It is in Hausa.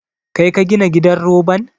Kai ka gina gidan roban?